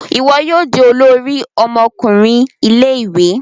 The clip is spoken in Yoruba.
Iwọ yoo di olórí ọmọkùnrin Ilé-ìwé